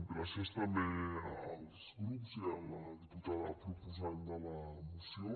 gràcies també als grups i a la diputada proposant de la moció